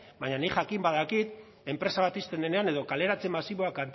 baina nik jakin badakit enpresa bat ixten denean edo kaleratze masiboak